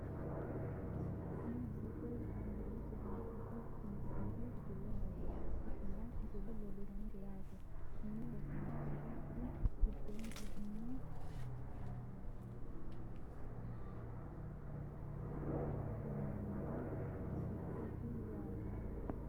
Kuni misilete la`neemohu sidaamu afii toniki kifile maxaafa ikinota misile leelishanonke yaate kuni rosaano rose isi giddoni egeno adhitano buichooti yaate.